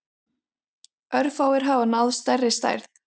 Örfáir hafa náð stærri stærð.